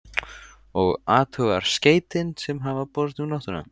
Og athugar skeytin sem hafa borist um nóttina?